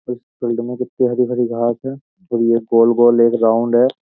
इस फील्ड में कित्ती हरी-भरी घास है और ये गोल-गोल एक राउंड है।